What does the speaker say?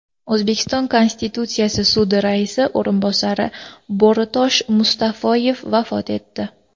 O‘zbekiston Konstitutsiyaviy sudi raisi o‘rinbosari Bo‘ritosh Mustafoyev vafot etdi.